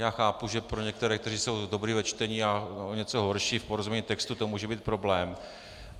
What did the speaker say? Já chápu, že pro některé, kteří jsou dobří ve čtení, já o něco horší, v porozumění textů to může být problém.